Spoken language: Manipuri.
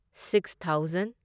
six thousand